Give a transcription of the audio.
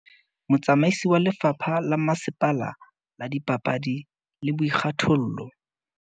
Motsamaisi wa lefapha la masepala la dipapadi le boikgathollo